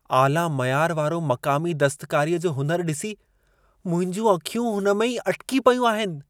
आला मयार वारो मक़ामी दस्तकारीअ जो हुनुरु ॾिसी, मुंहिंजूं अखियूं हुन में ई अटिकी पयूं आहिनि।